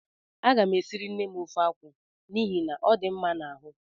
A gam esiri nnem ofe akwụ n'ihi na ọ dị mma n'ahụ